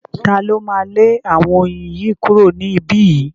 Ta ló máa lé àwọn oyin yìí kúrò ní ibí yìí?